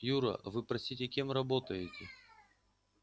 юра а вы простите кем работаете